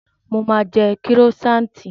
Mo máa jẹ kírósaanti